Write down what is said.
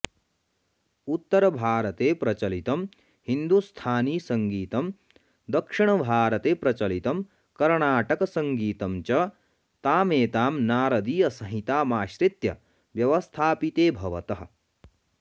उत्तरभारते प्रचलितं हिन्दुस्थानीसङ्गीतं दक्षिणभारते प्रचलितं कर्णाटकसङ्गीतं च तामेतां नारदीयसंहितामाश्रित्य व्यवस्थापिते भवतः